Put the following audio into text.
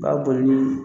U b'a boli ni